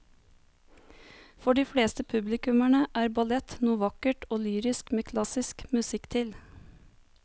For de fleste publikummere er ballett noe vakkert og lyrisk med klassisk musikk til.